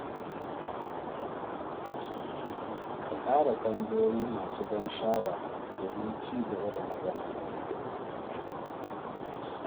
Ka ƙara tambayoyi masu ban sha’awa domin ci gaba da magana.